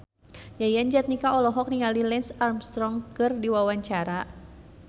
Yayan Jatnika olohok ningali Lance Armstrong keur diwawancara